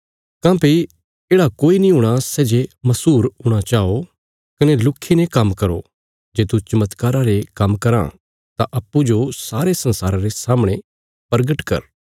काँह्भई येढ़ा कोई नीं हूणा सै जे मशहूर हूणा चाओ कने लुक्खीने काम्म करो जे तू चमत्कारा रे काम्म कराँ तां अप्पूँजो सारे संसारा रे सामणे परगट कर